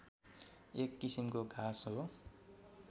एक किसिमको घाँस हो